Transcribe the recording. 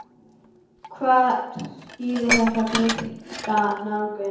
Hvað skýrir þessa breytta nálgun?